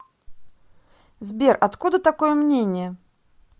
сбер откуда такое мнение